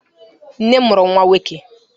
Nne m mụrụ nwa nwọke